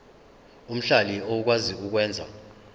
omhlali okwazi ukwenza